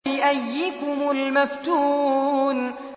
بِأَييِّكُمُ الْمَفْتُونُ